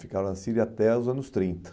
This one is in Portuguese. Ficaram na Síria até os anos trinta.